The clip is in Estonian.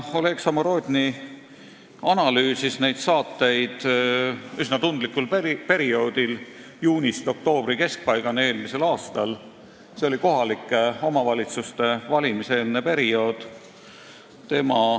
Oleg Samorodni analüüsis neid saateid üsna tundlikul perioodil, eelmise aasta juunist oktoobri keskpaigani, kohalike omavalitsuste valimise eelsel ajal.